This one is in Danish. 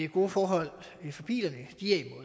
gode forhold for bilerne